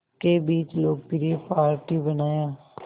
के बीच लोकप्रिय पार्टी बनाया